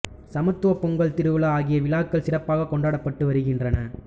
சமத்துவ பொங்கல் திருவிழா ஆகிய விழாக்கள் சிறப்பாகக் கொண்டாடப்பட்டு வருகின்றன